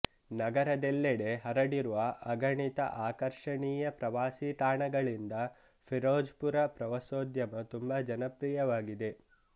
ನಗರದೆಲ್ಲೆಡೆ ಹರಡಿರುವ ಅಗಣಿತ ಆಕರ್ಷಣೀಯ ಪ್ರವಾಸಿ ತಾಣಗಳಿಂದ ಫಿರೋಜ್ಪುರ ಪ್ರವಾಸೋದ್ಯಮ ತುಂಬಾ ಜನಪ್ರಿಯವಾಗಿದೆ